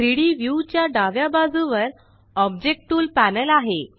3डी व्यू च्या डाव्या बाजुवर ऑब्जेक्ट टूल पॅनल आहे